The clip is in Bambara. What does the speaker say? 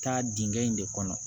Taa dingɛ in de kɔnɔ